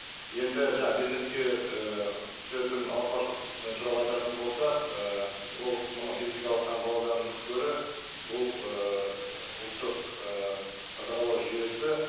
енді бизнеске і түсетін ауыртпашылық і туралы айтатын болсақ і ол мынау физикалық таңбалаудан гөрі бұл ы ұлттық ы қадағалау жүйесі